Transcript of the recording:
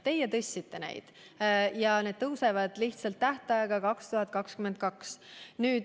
Teie tõstsite neid ja need tõusevad lihtsalt tähtajaga 2022.